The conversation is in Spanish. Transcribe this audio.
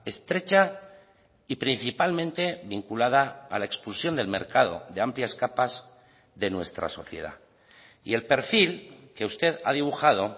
estrecha y principalmente vinculada a la expulsión del mercado de amplias capas de nuestra sociedad y el perfil que usted ha dibujado